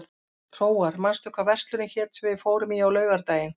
Hróar, manstu hvað verslunin hét sem við fórum í á laugardaginn?